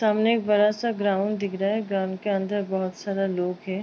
सामने एक बड़ा सा ग्राउंड दिख रहा है। ग्राउंड के अंदर बहोत सारा लोग हैं।